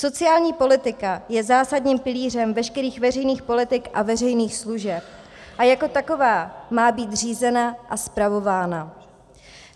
Sociální politika je zásadním pilířem veškerých veřejných politik a veřejných služeb a jako taková má být řízena a spravována.